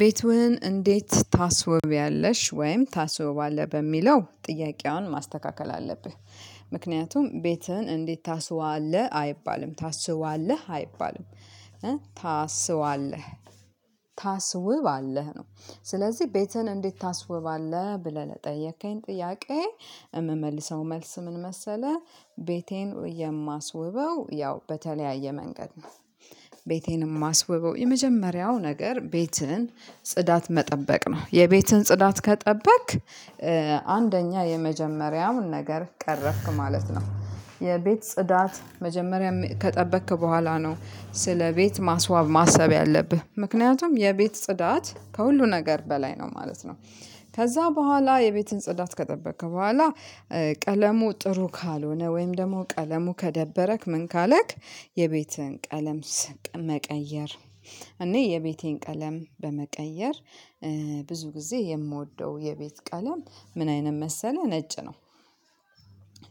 ቤትህን እንዴት ታስወቢያለሽ ወይም ታስወባለህ በሚለው ጥያቄዋን ማስተካከል አለብህ። ምክንያቱም ቤትህን እንዴት ታስዋለህ አይባልም ታስዋለህ አይባልም ታስዋለህ ታስውባለህ ነው። ስለዚህ ቤትህን እንዴት ታስውባለህ ብለህ ለጠየከኝ ጥያቄ የምመልሰው መልስ ምን መሰለህ? ቤቴን የማስውበው ያው በተለያየ መንገድ ነው። ቤቴን የማስውበው የመጀመሪያው ነገር ቤትህን ጽዳት መጠበቅ ነው የቤትህን ጽዳት ከጠበቅክ አንደኛ የመጀመሪያውን ነገር ቀረፍክ ማለት ነው። የቤት ጽዳት መጀመሪያ ከጠበቅክ በኋላ ነው ስለ ቤት ማስዋብ ማሰብ ያለብህ ምክንያቱም የቤት ጽዳት ከሁሉ ነገር በላይ ነው ማለት ነው። ከዛ በኋላ የቤትን ጽዳት ከጠበቅክ በኋላ ቀለሙ ጥሩ ካልሆነ ወይም ደግሞ ቀለሙ ከደበረክ ምን ካለክ። የቤቴን ቀለም ስቅ መቀየር እኔ የቤቴን ቀለም በመቀየር ብዙ ጊዜ የምወደው የቤት ቀለም ምን አይነት መሰለህ ነጭ ነው።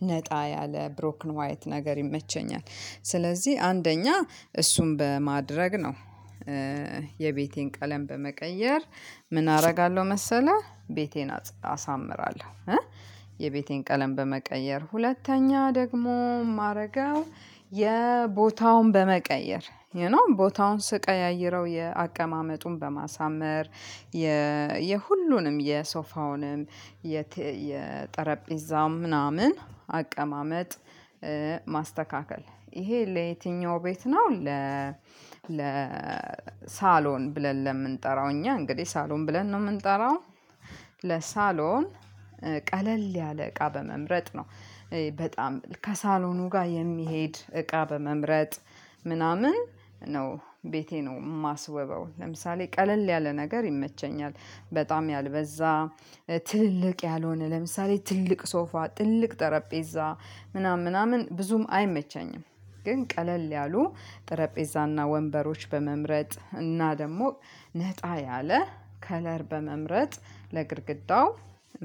ነጣ ያለ ብሮክን ዋይት ነገር ይመቸኛል። ስለዚህ አንደኛ እሱን በማድረግ ነው። የቤቴን ቀለም በመቀየር ምን አደርጋለሁ መሰለህ ቤቴን አሳምራለሁ። የቤቴን ቀለም በመቀየር ሁለተኛ ደግሞ ማረጋው። የቦታውን በመቀየር ዩ ኖው ቦታውን ስቀያይረው የአቀማመጡን በማሳመር የሁሉንም የሶፋውንም የጠረጴዛም ምናምን አቀማመጥ። ማስተካከል ይሄ ለየትኛው ቤት ነው ለ ለ ሳሎን ብለን ለምንጠራው እኛ እንግዲህ ሳሎን ብለን ነው የምንጠራው። ለሳሎን ቀለል ያለ እቃ በመምረጥ ነው። በጣም ከሳሎኑ ጋር የሚሄድ እቃ በመምረጥ ምናምን ነው ቤቴ ነው የማስውበው። ለምሳሌ ቀለል ያለ ነገር ይመቸኛል በጣም ያልበዛ ትልልቅ ያልሆነ ለምሳሌ ትልቅ ሶፋ ትልቅ ጠረጴዛ ምናምን ምናምን ብዙም አይመቸኝም። ግን ቀለል ያሉ ጠረጴዛና ወንበሮች በመምረጥ እና ደግሞ ነጣ ያለ ከለር በመምረጥ ለግድግዳው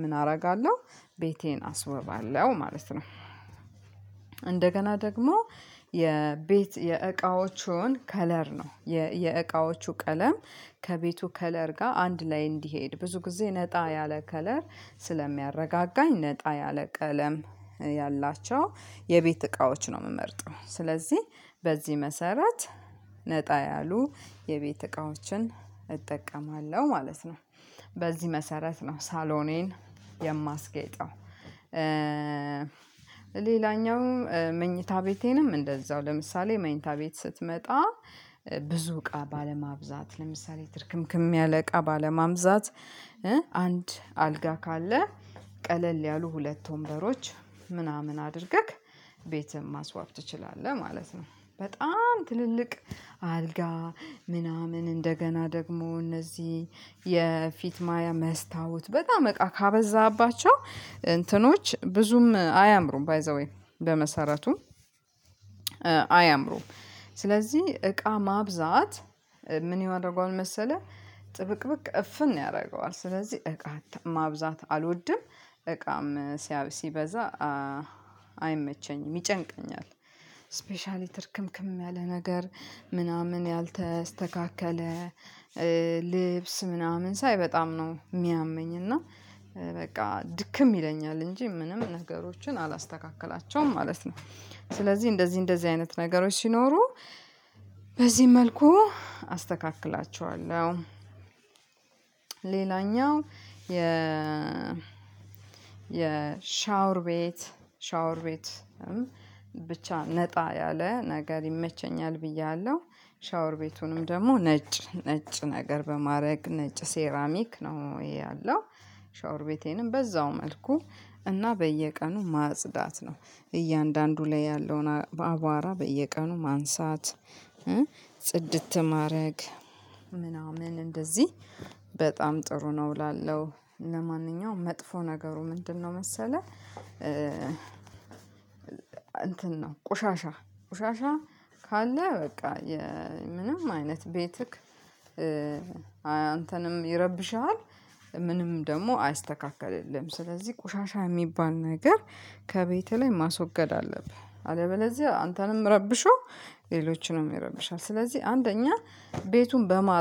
ምን አደርጋለሁ ቤቴን አስውባለሁ ማለት ነው። እንደገና ደግሞ የቤት የእቃዎቹን ከለር ነው የእቃዎቹ ቀለም ከቤቱ ከለር ጋር አንድ ላይ እንዲሄድ ብዙ ጊዜ ነጣ ያለ ከለር ስለሚያረጋጋኝ ነጣ ያለ ቀለም ያላቸው የቤት እቃዎች ነው የምመርጠው። ስለዚህ በዚህ መሰረት ነጣ ያሉ የቤት እቃዎችን እጠቀማለሁ ማለት ነው። በዚህ መሰረት ነው ሳሎኔን የማስጌይጠው። ሌላኛው መኝታ ቤቴንም እንደዛው ለምሳሌ መኝታ ቤት ስትመጣ ብዙ እቃ ባለማብዛት ለምሳሌ ትርክምክም ያለ እቃ ባለማብዛት አንድ አልጋ ካለ ቀለል ያሉ ሁለት ወንበሮች ምናምን አድርገህ ቤትም ማስዋብ ትችላለህ ማለት ነው። በጣም ትልልቅ አልጋ ምናምን እንደገና ደግሞ እነዚህ የፊት ማያ መስታወት በጣም እቃ ካበዛህባቸው እንትኖች ብዙም አያምሩም ባይ ዘ ዌይ በመሰረቱም አያምሩም ስለዚህ እቃ ማብዛት ምን ያደርገዋል መሰለህ? ጥብቅ ብቅ እፍን ያደርገዋል ስለዚህ እቃ ማብዛት አልወድም። እቃም ሲበዛ አይመቸኝም ይጨንቀኛል። ስፔሻሊ ትርክምክም ያለ ነገር ምናምን ያልተስተካከለ ልብስ ምናምን ሳይ በጣም ነው የሚያመኝ እና በቃ ድክም ይለኛል እንጂ ምንም ነገሮችን አላስተካክላቸውም ማለት ነው። ስለዚህ እንደዚህ እንደዚህ አይነት ነገሮች ሲኖሩ በዚህ መልኩ አስተካክላቸዋለሁ። እችላለሁ ሌላኛው የ የሻወር ቤት ሻወር ቤት ብቻ ነጣ ያለ ነገር ይመቸኛል ብያለሁ። ሻወር ቤቱንም ደግሞ ነጭ ነጭ ነጭ ነገር በማድረግ ነጭ ሴራሚክ ነው ይሄ ያለው ሻወር ቤቴንም በዛው መልኩ እና በየቀኑ ማጽዳት ነው። እያንዳንዱ ላይ ያለውን አባራ በየቀኑ ማንሳት ጽድት ማድረግ ምናምን እንደዚህ በጣም ጥሩ ነው እላለሁ። ለማንኛውም መጥፎ ነገሩ ምንድነው መሰለህ? እንትን ነው ቆሻሻ ቆሻሻ ካለ በቃ ምንም አይነት ቤትህ አንተንም ይረብሽሃል። ምንም ደግሞ አያስተካክልልህም ስለዚህ ቆሻሻ የሚባል ነገር ከቤትህ ላይ ማስወገድ አለብህ አለበለዚያ አንተንም ረብሾ ሌሎችንም ይረብሻል። ስለዚህ አንደኛ ቤቱን በማ